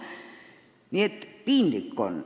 Nii et piinlik on.